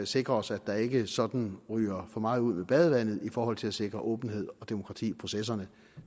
sikre os at der ikke sådan ryger for meget ud med badevandet i forhold til at sikre åbenhed og demokrati i processerne